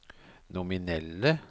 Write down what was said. nominelle